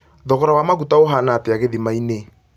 thogora wa maguta ũhaana atĩa gĩthima-inĩ